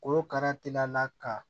Korokara telila ka